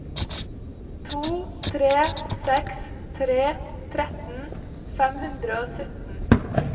to tre seks tre tretten fem hundre og sytten